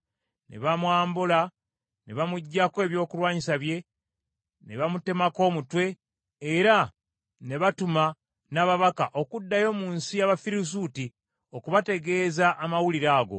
Ne bamwambula, ne bamuggyako ebyokulwanyisa bye, ne bamutemako omutwe, era ne batuma n’ababaka okuddayo mu nsi y’Abafirisuuti okubategeeza amawulire ago.